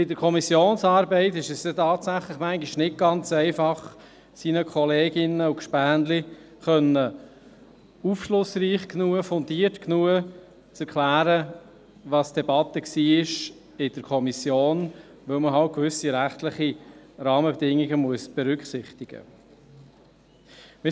Bei der Kommissionsarbeit ist es tatsächlich manchmal nicht ganz einfach, seinen Kolleginnen und Gefährten aufschlussreich und fundiert genug zu erklären, welches die Debatte in der Kommission war, weil man gewisse rechtliche Rahmenbedingungen berücksichtigen muss.